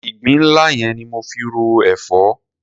Ìgbín nla yẹn ni mo fi ro èfọ́.